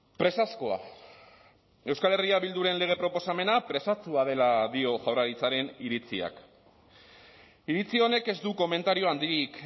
presazkoa euskal herria bilduren lege proposamena presatsua dela dio jaurlaritzaren iritziak iritzi honek ez du komentario handirik